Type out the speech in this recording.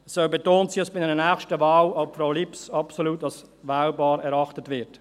Es soll betont sein, dass bei einer nächsten Wahl auch Frau Lips absolut als wählbar erachtet wird.